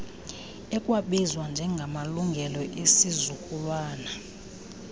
ekwabizwa njengamalungelo esizukulwana